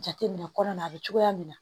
Jateminɛ kɔnɔna na a bɛ cogoya min na